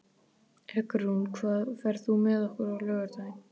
Eggrún, ferð þú með okkur á laugardaginn?